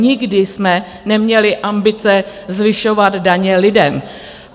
Nikdy jsme neměli ambice zvyšovat daně lidem.